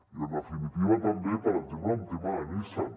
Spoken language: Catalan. i en definitiva també per exemple el tema de nissan